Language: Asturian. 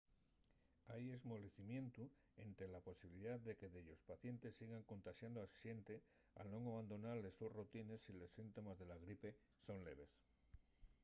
hai esmolecimientu énte la posibilidá de que dellos pacientes sigan contaxando a xente al nun abandonar les sos rutines si los síntomes de la gripe son leves